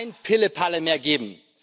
kein Pillepalle mehr geben.